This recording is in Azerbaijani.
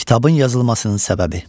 Kitabın yazılmasının səbəbi.